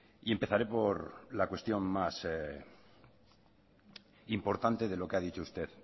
y empezaré por la cuestión más importante de lo que ha dicho usted